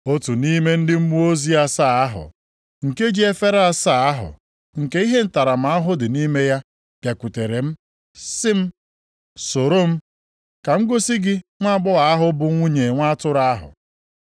Otu nʼime ndị mmụọ ozi asaa ahụ, nke ji efere asaa ahụ nke ihe ntaramahụhụ dị nʼime ya bịakwutere m sị m, “Soro m, ka m gosi gị nwaagbọghọ ahụ bụ nwunye Nwa Atụrụ ahụ.”